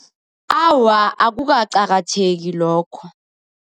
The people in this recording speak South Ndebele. Awa, akukaqakatheki lokho.